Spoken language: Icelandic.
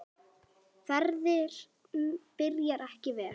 Ferðin byrjaði ekki vel.